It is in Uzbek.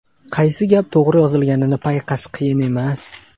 Qaysi gap to‘g‘ri yozilganini payqash qiyin emas.